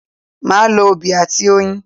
Màá lo obì àti oyin